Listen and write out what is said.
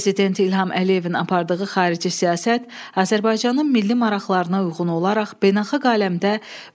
Prezident İlham Əliyevin apardığı xarici siyasət Azərbaycanın milli maraqlarına uyğun olaraq beynəlxalq aləmdə